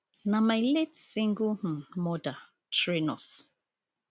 na my late single um mother train us